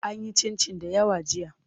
An yi cincin dayawa jiya.